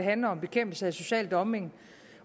handler om bekæmpelse af social dumping